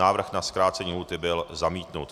Návrh na zkrácení lhůty byl zamítnut.